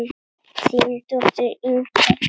Þín dóttir, Inga.